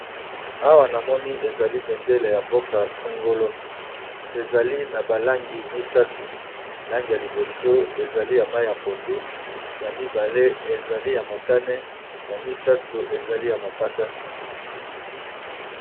Awa namoni balakisi biso ezali bendele ya mboka songolo eza nalangi ya mai yapondu yamotane pe langi ya mosaka